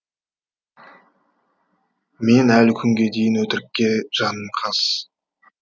мен әлі күнге дейін өтірікке жаным қас